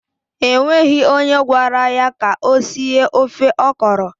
E nweghi onye gwara ya ka o sie ofe ọkọrọ.